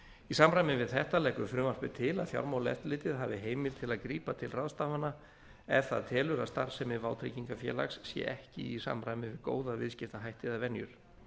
í samræmi við þetta leggur frumvarpið til að fjármálaeftirlitið hafi heimild til að grípa til ráðstafana ef það telur að starfsemi vátryggingafélags sé ekki í samræmi við góða viðskiptahætti eða venjur